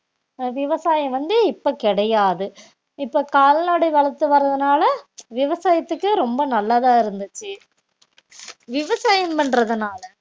ஆஹ் விவசாயம் வந்து இப்ப கிடையாது இப்ப கால்நடை வளர்த்து வரதுனால விவசாயத்துக்கு ரொம்ப நல்லதா இருந்துச்சு விவசாயம் பண்றதுனால